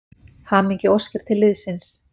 Hamingjuóskir til liðsins.